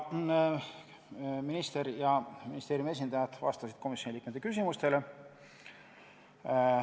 Minister ja ministeeriumi esindajad vastasid komisjoni liikmete küsimustele.